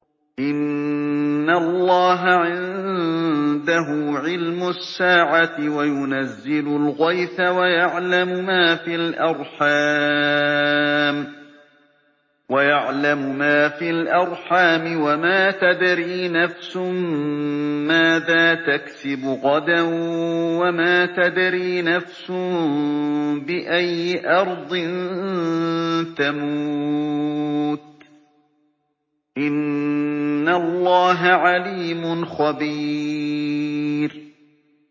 إِنَّ اللَّهَ عِندَهُ عِلْمُ السَّاعَةِ وَيُنَزِّلُ الْغَيْثَ وَيَعْلَمُ مَا فِي الْأَرْحَامِ ۖ وَمَا تَدْرِي نَفْسٌ مَّاذَا تَكْسِبُ غَدًا ۖ وَمَا تَدْرِي نَفْسٌ بِأَيِّ أَرْضٍ تَمُوتُ ۚ إِنَّ اللَّهَ عَلِيمٌ خَبِيرٌ